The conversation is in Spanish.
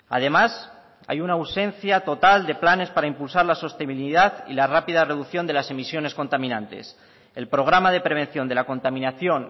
además hay una ausencia total de planes para impulsar la sostenibilidad y la rápida reducción de las emisiones contaminantes el programa de prevención de la contaminación